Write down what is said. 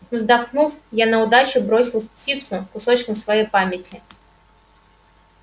вздохнув я на удачу бросил в птицу кусочком своей памяти